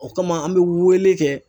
O kama, an bɛ wele kɛ.